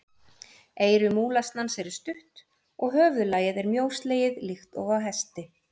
Eyru múlasnans eru stutt og höfuðlagið er mjóslegið líkt og á hesti.